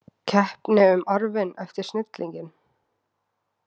Keppni um arfinn eftir snillinginn?